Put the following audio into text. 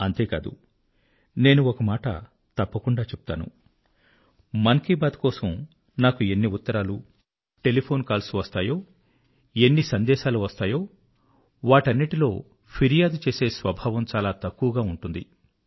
అంతేకాదు నేను ఒక మాట తప్పకుండా చెప్తాను మన్ కీ బాత్ కోసం నాకు ఎన్ని ఉత్తరాలు టెలిఫోన్ కాల్స్ వస్తాయో ఎన్ని సందేశాలు వస్తాయో వాటన్నిటిలో ఫిర్యాదు చేసే స్వభావం చాలా తక్కువ ఉంటుంది